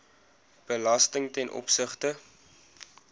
belasting ten opsigte